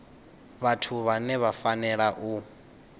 vhathu vhane vha fanela u